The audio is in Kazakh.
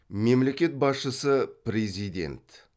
мемлекет басшысы президент